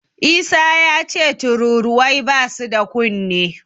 Isa yace tururuwai basu da kunne.